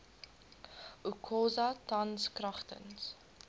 okosa tans kragtens